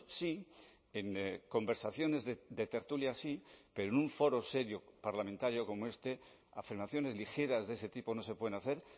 sí en conversaciones de tertulias sí pero en un foro serio parlamentario como este afirmaciones ligeras de ese tipo no se pueden hacer